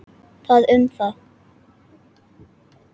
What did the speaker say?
Það um það.